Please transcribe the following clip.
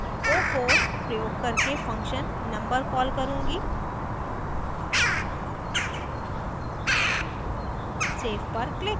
मैं object o4 प्रयोग करके function number कॉल करुँगी